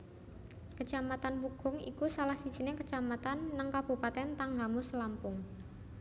Kecamatan Pugung iku salah sijining kecamatan neng kabupaten Tanggamus Lampung